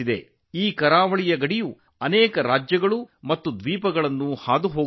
ಈ ಕರಾವಳಿಯು ಅನೇಕ ರಾಜ್ಯಗಳು ಮತ್ತು ದ್ವೀಪಗಳ ಮೂಲಕ ಹಾದುಹೋಗುತ್ತದೆ